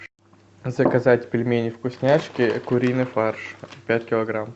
заказать пельмени вкусняшки куриный фарш пять килограмм